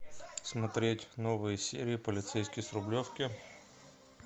смотреть новые серии полицейский с рублевки